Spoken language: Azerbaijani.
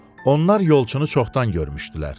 Onlar yolçunu çoxdan görmüşdülər.